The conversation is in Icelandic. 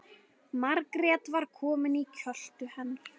Margrét var komin í kjöltu hennar.